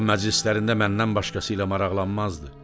O məclislərində məndən başqası ilə maraqlanmazdı.